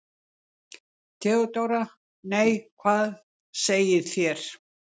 THEODÓRA: Nei, hvað segið þér?